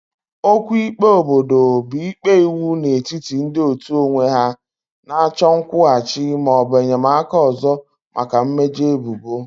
Okwu ikpe obodo bụ ikpe iwu n'etiti ndị otu onwe ha na-achọ nkwụghachi ma ọ bụ enyemaka ọzọ maka mmejọ ebubo.